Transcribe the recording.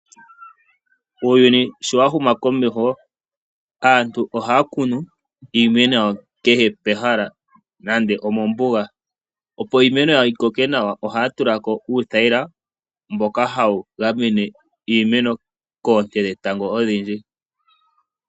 Uuyuni sho wa huma komeho, aantu ohaya kunu iimeno yawo kehe pehala nande omombuga. Opo iimeno yawo yi koke nawa ohaya tula ko uuthayila mboka hawu gamene koonte dhetango odhindji.